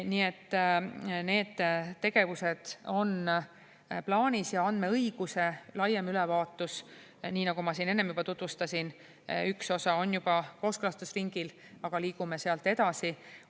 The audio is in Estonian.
Nii et need tegevused on plaanis ja andmeõiguse laiem ülevaatus, nii nagu ma siin enne juba tutvustasin, üks osa on juba kooskõlastusringil, aga liigume sealt edasi.